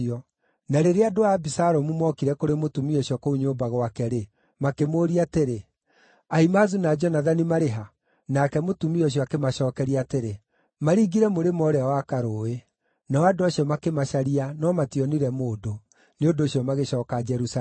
Na rĩrĩa andũ a Abisalomu mookire kũrĩ mũtumia ũcio kũu nyũmba gwake-rĩ, makĩmũũria atĩrĩ, “Ahimaazu na Jonathani marĩ ha?” Nake mũtumia ũcio akĩmacookeria atĩrĩ, “Maringire mũrĩmo ũũrĩa wa karũũĩ.” Nao andũ acio makĩmacaria no mationire mũndũ; nĩ ũndũ ũcio magĩcooka Jerusalemu.